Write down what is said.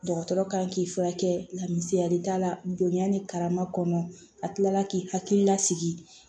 Dɔgɔtɔrɔ kan k'i furakɛ la misaliya la donya ni karama kɔnɔ a tilala k'i hakili lasigi